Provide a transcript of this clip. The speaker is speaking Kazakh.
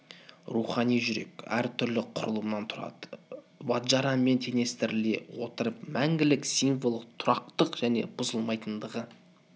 рухани жүрек әр түрлі құрылымнан тұрады ваджарамен теңестіріле отырып мәңгілік символы тұрақтылық және бұзылмайтындығы